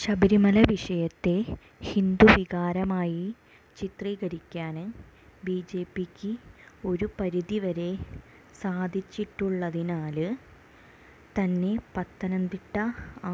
ശബരമല വിഷയത്തെ ഹിന്ദുവികാരമായി ചിത്രീകരിക്കാന് ബിജെപിക്ക് ഒരുപരിധി വരെ സാധിച്ചിട്ടുള്ളതിനാല് തന്നെ പത്തനംതിട്ട